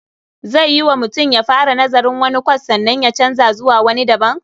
Zai yiwu mutum ya fara nazarin wani kwas sannan ya canza zuwa wani daban?